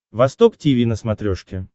восток тиви на смотрешке